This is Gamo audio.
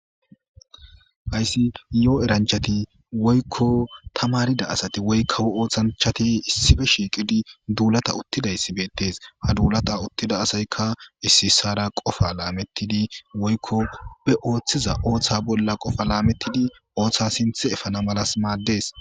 Hayssi yoo eranchati woykko ta marida asati woykkawo ooththanchati issife shiiqidi duulata uttidayssi beettes ha duulata uttida asaykka ississara qofa laamettidi woykko be ooththiza ooththa bolla qofa laamettidi ooththa sinth efana malas maaddes.